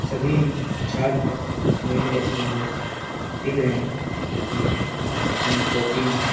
सभी छात्र मेल और फीमेल लिख रहे हैं मिल के अपने कॉपी में।